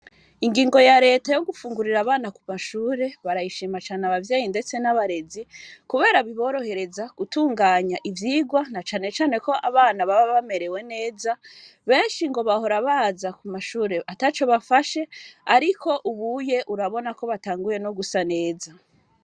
Ingigo ya Reta yo gufungurira abana ku mashure barayishima cane abavyeyi ndetse n'abarezi kubera biborohereza gutunganya ivyigwa na cane cane ko abana baba bamerewe neza, benshi bahora baza ku mashure ataco bafashe ariko ubuye urabona ko batanguye gusa neza.